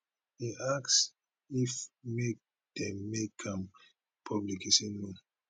im ask if make dem make am public e say no